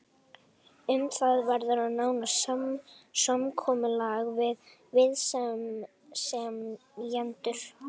Um það verður að nást samkomulag við viðsemjendur.